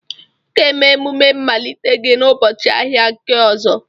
Ị ga-eme omume mmalite gị n'ụbọchị ahịa nke ọzọ.